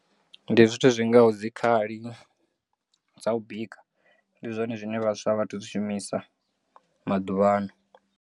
Ndi zwithu zwingaho dzikhali dza u bika ndi zwone zwine vhaswa a vhatu zwishumisa maḓuvhano.